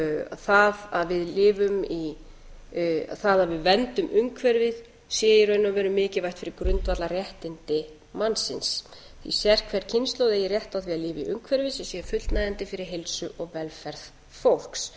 það að við verndum umhverfið sé í raun og veru mikilvægt fyrir grundvallarréttindi mannsins því að sérhver kynslóð eigi rétt á því að lifa í umhverfi sem sé fullnægjandi fyrir heilsu og velferð fólks